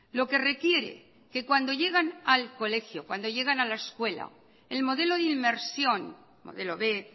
lo que requiere que cuando llegan al colegio cuando llegan a la escuela el modelo de inmersión modelo b